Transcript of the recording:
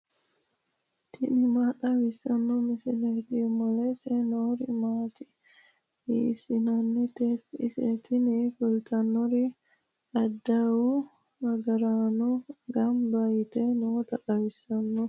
tini maa xawissanno misileeti ? mulese noori maati ? hiissinannite ise ? tini kultannori adawu agaraanno gamba yite noota xawissanno .